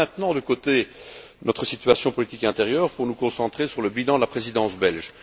Laissons maintenant de côté notre situation politique intérieure pour nous concentrer sur le bilan de la Présidence belge.